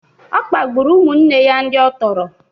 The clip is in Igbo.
Ọ kpagburu ụmụnne ya ndị ọ tọrọ